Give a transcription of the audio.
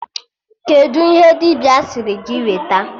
Kedụ ihe dibịa sịrị gị weta?